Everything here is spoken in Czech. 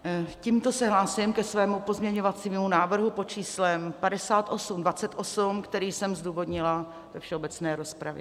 Tímto se hlásím ke svému pozměňovacímu návrhu pod číslem 5828, který jsem zdůvodnila ve všeobecné rozpravě.